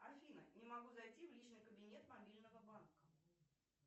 афина не могу зайти в личный кабинет мобильного банка